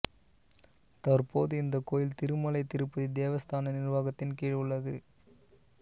தற்போது இந்த கோயில் திருமலை திருப்பதி தேவஸ்தான நிர்வாகத்தின் கீழ் உள்ளது